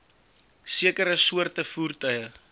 sekere soorte voertuie